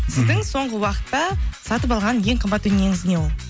сіздің соңғы уақытта сатып алған ең қымбат дүниеңіз не ол